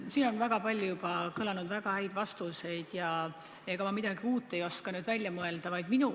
Siin on juba kõlanud palju väga häid vastuseid ja ega ma midagi uut ei oska välja mõelda.